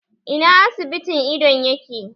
Ina asibitin idon yake?